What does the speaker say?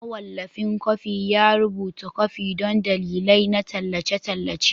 Mawallafin kwafi ya rubuta kwafi don dalilai na tallace-tallace.